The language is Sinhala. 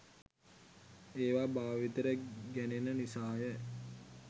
ඒවා භාවිතයට ගැනෙන නිසා ය.